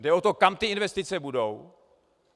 Jde o to, kam ty investice budou.